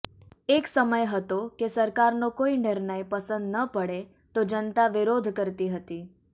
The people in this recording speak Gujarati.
એક સમય હતો કે સરકારનો કોઈ નિર્ણય પસંદ ન પડે તો જનતા વિરોધ કરતી હતી